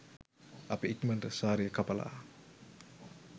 අපි ඉක්මනට සාරිය කපලා